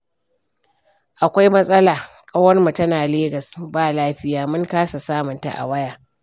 Akwai matsala, ƙawarmu tana Legas ba lafiya mun kasa samunta a waya